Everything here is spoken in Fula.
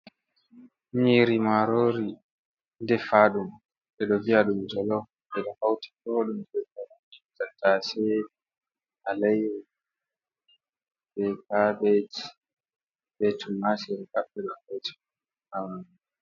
Nyiri marori de fadum dedo via dum colo de do fauti to dum je fela i cattase alairi be cabet be tum mashi re cappe la het hawani,